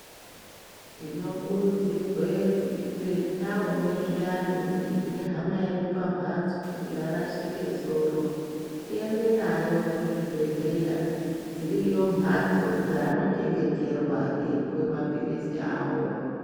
Tinokurudzirwe kuti te taone zviyani kuti hama yedu pampatso yarashike soro tiende nayo kuzvibhedhleya dsiriyo mhatso dzaanochengeterwa eipiwe mapilizi awo.